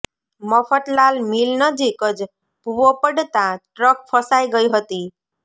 Mafatlal mill નજીક જ ભૂવો પડતાં ટ્રક ફસાઈ ગઈ હતી